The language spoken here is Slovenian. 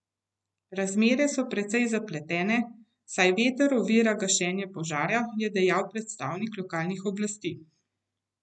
Razmere so precej zapletene, saj veter ovira gašenje požara, je dejal predstavnik lokalnih oblasti.